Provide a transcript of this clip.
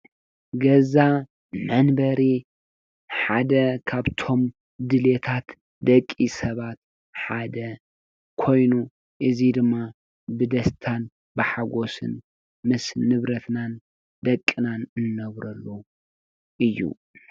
ገዛ መንበሪ ሓደ ካብቶም ድሌታት ደቂ ሰባት ሓደ ኮይኑ እዚ ድማ ብደስታን ብሓጎስን ምስ ንብረትናን ደቅናን ንነብረሉ እዩ ።